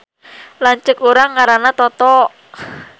Lanceuk urang ngaranna Toto